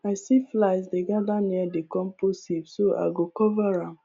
i see flies dey gather near the compost heap so i go cover am